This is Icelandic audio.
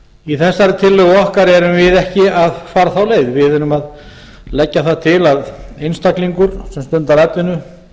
í þessari tillögu okkar erum við ekki að fara þá leið við erum að leggja það til að einstaklingur sem stundar atvinnu